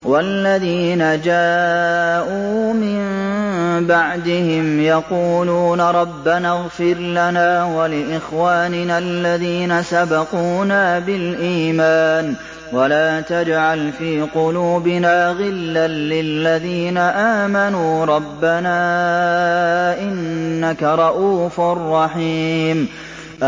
وَالَّذِينَ جَاءُوا مِن بَعْدِهِمْ يَقُولُونَ رَبَّنَا اغْفِرْ لَنَا وَلِإِخْوَانِنَا الَّذِينَ سَبَقُونَا بِالْإِيمَانِ وَلَا تَجْعَلْ فِي قُلُوبِنَا غِلًّا لِّلَّذِينَ آمَنُوا رَبَّنَا إِنَّكَ رَءُوفٌ رَّحِيمٌ